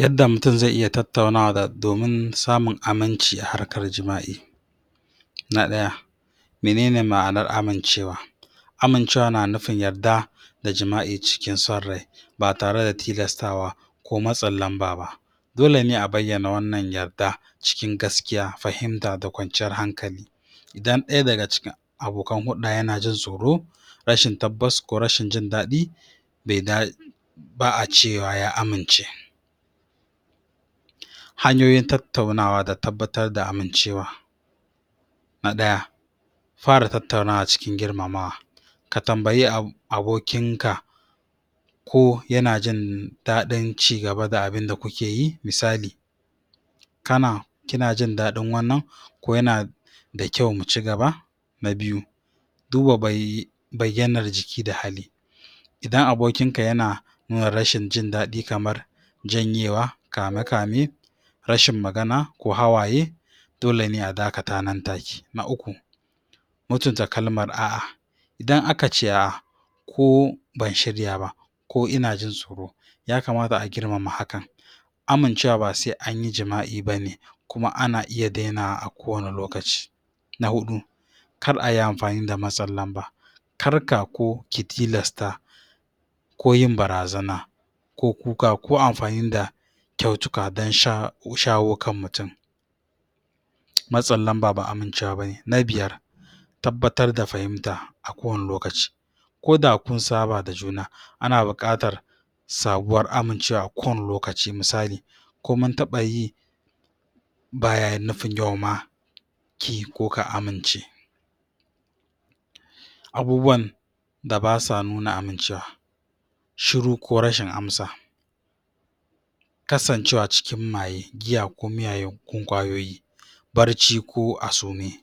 yadda mutun zai iya tattauna domin samun aminci a harkar jima'i na ɗaya menene ma'anar amincewa amincewa na nufin yadda da jima'i cikin san rai ba tare da tilastawa ko matsin lanba ba dole ne a bayyana wannan yadda cikin gaskiya fahimta da kwanciyar hankali idan ɗaya daga cikin abokan hulda yana jin tsoro rashin tabbas ko rashin jindaɗi ba a cewa ya amince hanyoyin tattaunawa da tabbatar da amincewa na ɗaya fara tattaunawa cikin girmamawa ka tanbaye abokinka ko ya jindaɗin cigaba da abinda kuke yi misali kana kina jindaɗin wannan da kyau mucigaba na biyu duba bayyanar jiki da hali idan abokinka yana nuna rashin jindaɗi kamar janyewa kamekame rashin magana ko hawaye dole ne a dakata nan take na uku mutuntu kalmar a'a idan akace a'a ko ban shirya ba ko ina jin tsoro ya kamata a girmama hakan amincewa ba sai anyi jima'i bane kuma ana iya denawa a ko wanne lokaci na hudu kar ayi amfani da matsin lanba karka ko ki tilasta ko yin bara zana ko kuka ko amfani da kyautuka dan shawo kan mutun matsin lanba ba amincewa bane na biyar tabbatar da fahimta a ko wanne lokaci ko da kunsaba da juna ana buƙatar sabuwar amincewa a ko wanne lokaci misali ko muntaɓa yi baya nufin yau kiyi ko ka amince abubuwan da basa nuna amincewa shiru ko rashin amsa kasanvewa cikin maye giya ko miyagun ƙwayoyi bacci ko a sume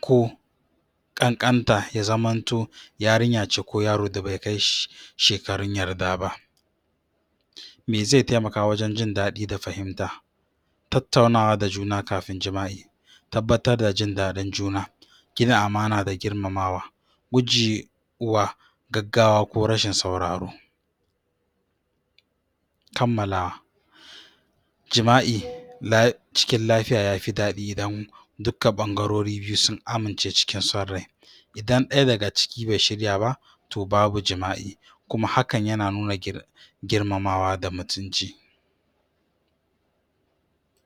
ko ƙanƙanta ya zamanto yarinya ce ko yaro da bai kai shekarun yarda ba me zai taimakawa wajan jindaɗi da fahimta tattaunawa da juna kafin jima'i tabbatar da jindaɗin juna gina amana da girmamamwa gujewa gaggawa ko rashin sauraro kammala jima'i cikin lafiya yafi daɗi idan duka ɓangaruri biyu sun amince cikin san rai idan ɗaya daga ciki be shirya ba to babu jima'i kuma hakan yana nuna girmamawa da mutunci